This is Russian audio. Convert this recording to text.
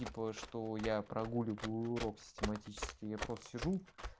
типа что я прогуливаю уроки систематически я просто сижу